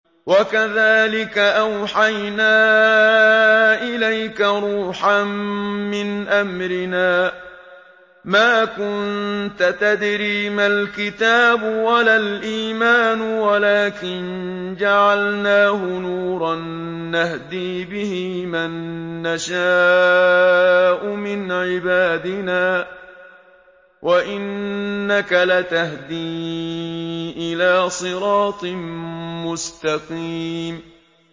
وَكَذَٰلِكَ أَوْحَيْنَا إِلَيْكَ رُوحًا مِّنْ أَمْرِنَا ۚ مَا كُنتَ تَدْرِي مَا الْكِتَابُ وَلَا الْإِيمَانُ وَلَٰكِن جَعَلْنَاهُ نُورًا نَّهْدِي بِهِ مَن نَّشَاءُ مِنْ عِبَادِنَا ۚ وَإِنَّكَ لَتَهْدِي إِلَىٰ صِرَاطٍ مُّسْتَقِيمٍ